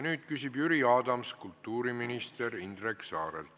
Nüüd küsib Jüri Adams kultuuriminister Indrek Saarelt.